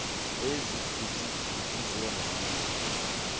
ezigidi gidi zeerandi